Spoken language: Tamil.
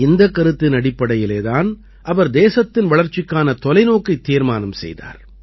இந்தக் கருத்தின் அடிப்படையிலே தான் அவர் தேசத்தின் வளர்ச்சிக்கான தொலைநோக்கைத் தீர்மானம் செய்தார்